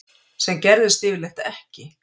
Sem gerðist yfirleitt ekki.